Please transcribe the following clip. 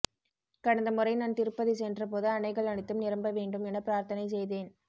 கடந்த முறை நான் திருப்பதி சென்ற போது அணைகள் அனைத்தும் நிரம்ப வேண்டும் என பிரார்த்தனை செய்தேன்